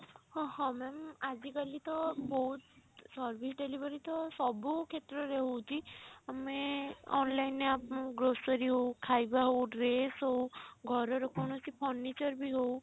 ହଁ ହଁ ma'am ଆଜିକାଲି ତ ବହୁତ service delivery ତ ସବୁ କ୍ଷେତ୍ର ରେ ହଉଛି ଆମେ online ରେ grocery ହଉ ଖାଇବା ହଉ dress ହଉ ଘର ର କୌଣସି furniture ବି ହଉ